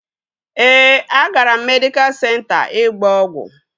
Ee, agara m medịkal senta ịgba ọgwụ